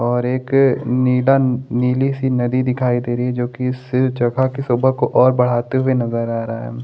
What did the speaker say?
और एक निडन नीली सी नदी दिखाई दे रही है जोकि इस जगह की शोभा को और बढ़ाते हुए नजर आ रहा है।